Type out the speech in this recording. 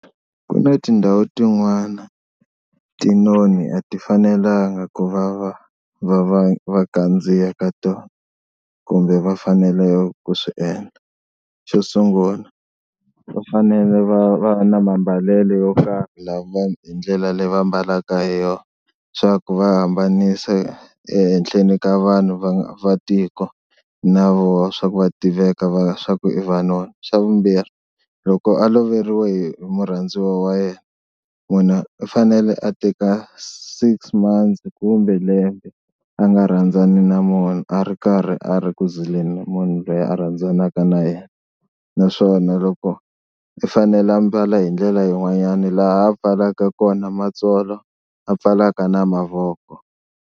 Ku na tindhawu tin'wana tinoni a ti fanelanga ku va va va kandziya ka tona kumbe va faneleke ku swi endla. Xo sungula va fanele va va va na mambalelo yo karhi la hi ndlela leyi va ambalaka hi yona swa ku va hambanisa ehenhleni ka vanhu va va tiko na vona swa ku va tiveka swa ku i vanoni. Xa vumbirhi loko a loveriwe hi murhandziwa wa yena munhu u fanele a teka six months kumbe lembe a nga rhandzani na munhu a ri karhi a ri ku zileni munhu loyi a rhandzanaka na yena, naswona loko i fanele a mbala hi ndlela yin'wanyana laha a pfalaka kona matsolo a pfalaka na mavoko.